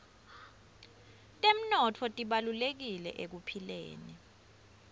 temnotfo tibalulekile ekuphileni